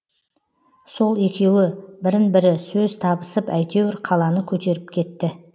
сол екеуі бірін бірі сөз табысып әйтеуір қаланы көтеріп кетті